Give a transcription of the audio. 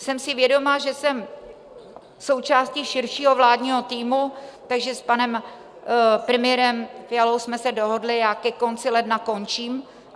Jsem si vědoma, že jsem součástí širšího vládního týmu, takže s panem premiérem Fialou jsme se dohodli, já ke konci ledna končím.